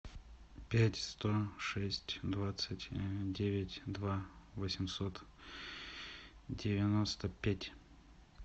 пять сто шесть двадцать девять два восемьсот девяносто пять